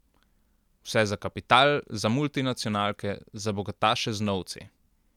Vse za kapital, za multinacionalke, za bogataše z novci.